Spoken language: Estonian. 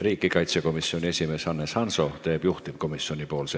Riigikaitsekomisjoni esimees Hannes Hanso teeb ettekande juhtivkomisjoni nimel.